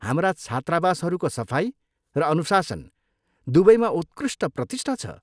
हाम्रा छात्रावासहरूको सफाइ र अनुशासन दुवैमा उत्कृष्ट प्रतिष्ठा छ।